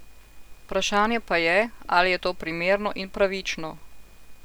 Vprašanje pa je, ali je to primerno in pravično.